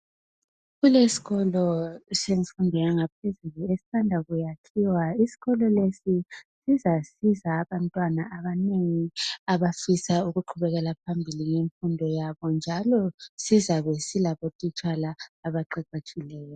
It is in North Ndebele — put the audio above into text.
Kuleskolo semfundo yangaphezulu esisanda kuyakhiwa. Isikolo lesi sizasiza abantwana abanengi abafisa ukuqhubekela phambili ngemfundo yabo njalo sizabe silabotitshala abaqeqetshileyo.